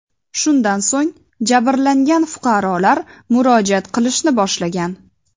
Shundan so‘ng jabrlangan fuqarolar murojaat qilishni boshlagan.